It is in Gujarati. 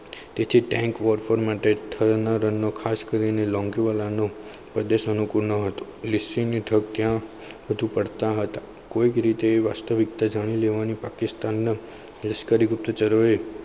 તેથી tank ફોર માટે નો ખાસ કરીને લોંગેવાલાનું પ્રદેશોને ગુનો હતો. લીસી રેતી બધું ત્યાં ફરતા હતા કોઈક રીતે વાસ્તવિકતા જાની લેવાના પાકિસ્તાનને લશ્કરી ગુપ્તચરોએ